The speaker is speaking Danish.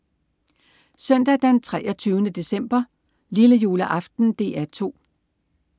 Søndag den 23. december. Lillejuleaften - DR 2: